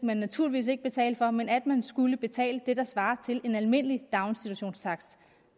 man naturligvis ikke betale for men at man skulle betale det der svarer til en almindelig daginstitutionstakst